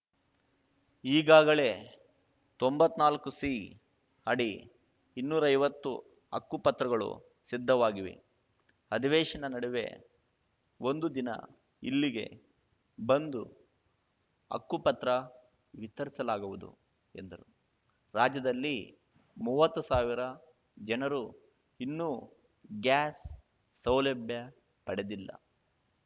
ಈಗಾಗಲೇ ತೊಂಬತ್ನಾಲ್ಕುಸಿ ಅಡಿ ಇನ್ನೂರೈವತ್ತು ಹಕ್ಕುಪತ್ರಗಳು ಸಿದ್ಧವಾಗಿವೆ ಅಧಿವೇಶನ ನಡುವೆ ಒಂದು ದಿನ ಇಲ್ಲಿಗೆ ಬಂದು ಹಕ್ಕುಪತ್ರ ವಿತರಿಸಲಾಗುವುದು ಎಂದರು ರಾಜ್ಯದಲ್ಲಿ ಮೂವತ್ತು ಸಾವಿರ ಜನರು ಇನ್ನೂ ಗ್ಯಾಸ್‌ ಸೌಲಭ್ಯ ಪಡೆದಿಲ್ಲ